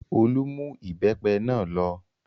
Olú mú ìbẹ́pẹ náà lọ.